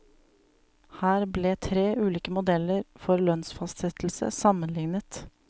Her ble tre ulike modeller for lønnsfastsettelse sammenliknet.